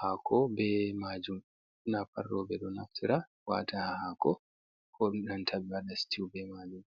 hako be majum, ɓurna fu roɓɓe ɗo naftira wata ha hako ko nanta ɓe waɗa stiu be majum.